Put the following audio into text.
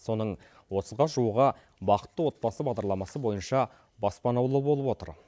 соның отызға жуығы бақытты отбасы бағдарламасы бойынша баспаналы болып отыр